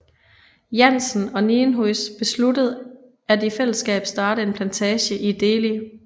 Janssen og Nienhuys besluttede at i fællesskab starte en plantage i Deli